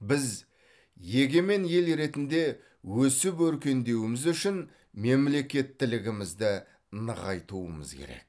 біз егемен ел ретінде өсіп өркендеуіміз үшін мемлекеттілігімізді нығайтуымыз керек